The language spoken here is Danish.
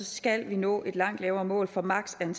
skal vi nå et langt lavere mål for maksimum